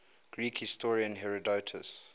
greek historian herodotus